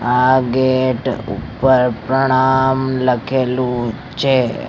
આ ગેટ ઉપર પ્રણામ લખેલું છે.